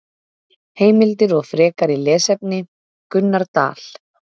Heimildir og frekari lesefni: Gunnar Dal.